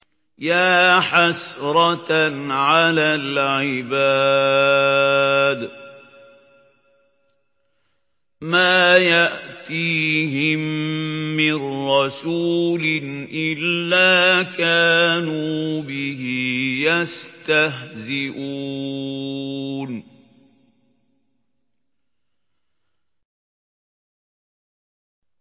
يَا حَسْرَةً عَلَى الْعِبَادِ ۚ مَا يَأْتِيهِم مِّن رَّسُولٍ إِلَّا كَانُوا بِهِ يَسْتَهْزِئُونَ